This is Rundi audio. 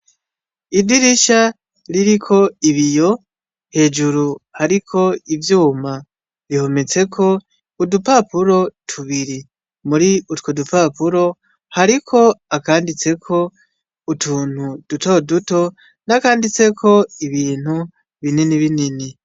Idirisha ririko ibiyo hejuru hariko ivyuma, rihometseko udupapuro tubiri mur'utwo dupapuro hariko akanditseko utuntu duto duto, nakanditseko ibintu binini binini.